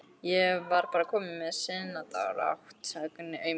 Ég var bara kominn með sinadrátt, sagði Gunni aumur.